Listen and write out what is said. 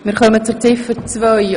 Wir kommen zu Ziffer 2.